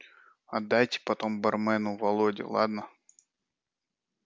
отдайте потом бармену володе ладно